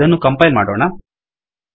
ಇದನ್ನು ಕಂಪೈಲ್ ಮಾಡೋಣ